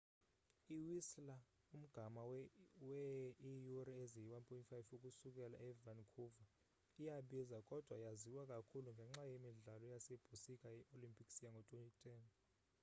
i-whistler umgama wee iiyure eziyi-1.5 ukusukela e-vancouver iyabiza kodwa yaziwa kakhulu ngenxa yemidlalo yasebusika yee-olympics yango-2010